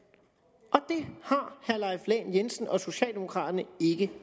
har herre leif lahn jensen og socialdemokraterne ikke